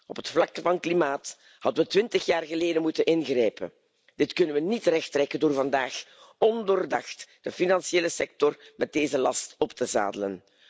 Op het vlak van klimaat hadden we twintig jaar geleden moeten ingrijpen. Dit kunnen we niet rechttrekken door vandaag ondoordacht de financiële sector met deze last op te zadelen.